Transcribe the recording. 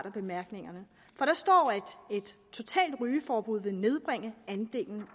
af bemærkningerne hvor der står at et totalt rygeforbud ville nedbringe andelen